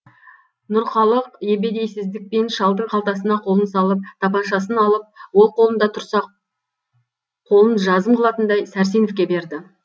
нұрқалық ебедейсіздікпен шалдың қалтасына қолын салып тапаншасын алып ол қолында тұрса қолын жазым қылатындай сәрсеновке берді